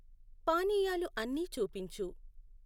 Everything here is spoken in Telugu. పానీయాలు అన్ని చూపించు